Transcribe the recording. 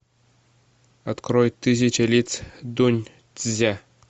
открой тысяча лиц дуньцзя